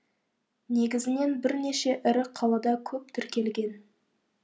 негізінен бірнеше ірі қалада көп тіркелген